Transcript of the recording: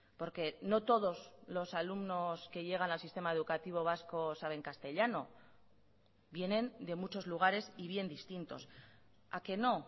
porque no todos los alumnos que llegan al sistema educativo vasco saben castellano vienen de muchos lugares y bien distintos a que no